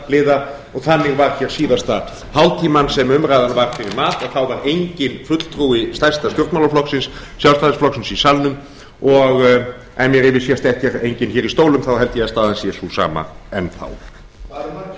stjórnarliða og þannig var hér síðasta hálftímann sem umræðan hér var fyrir mat að þá var enginn fulltrúi stærsta stjórnmálaflokksins sjálfstæðisflokksins í salnum og ef mér yfirsést ekki að enginn er hér í stólum þá held ég að staðan sé sú